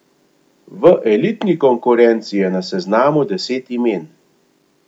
V elitni konkurenci je na seznamu deset imen.